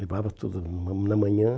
Levava tudo na na manhã.